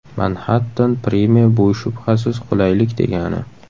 Manhattan Prime bu shubhasiz qulaylik degani.